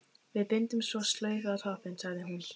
Við bindum svo slaufu á toppinn, sagði hún.